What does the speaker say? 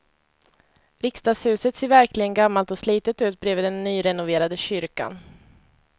Riksdagshuset ser verkligen gammalt och slitet ut bredvid den nyrenoverade kyrkan.